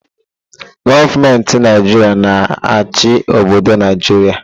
Gọọmenti Naijiria na-achị obodo Naijiria.